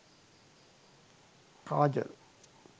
kajol